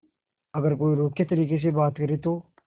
अगर कोई रूखे तरीके से बात करे तो